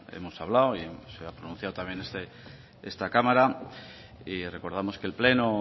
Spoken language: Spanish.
hemos hablado y se ha pronunciado también esta cámara y recordamos que el pleno